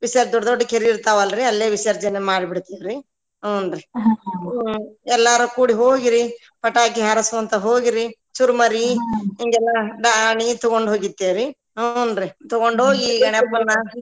ವಿಸ ದೊಡ್ಡ ದೊಡ್ಡ ಕೆರಿ ಇರ್ತಾವ ಅಲ್ರಿ ಅಲ್ಲೇ ವಿಸರ್ಜನೆ ಮಾಡಿ ಬಿಡ್ತೇವ್ರಿ ಹುನ್ರಿ ಎಲ್ಲಾರು ಕೂಡಿ ಹೋಗಿರಿ ಪಟಾಕಿ ಹಾರಿಸ್ಕೊಂತ ಹೋಗಿರಿ ಚುರ್ಮರಿ ಹಿಂಗೆಲ್ಲಾ ದಾನಿ ತುಗೊಂಡ ಹೋಗಿರ್ತೇವ್ರಿ ಹುನ್ರಿ ತುಗೊಂಡ ಹೋಗಿ .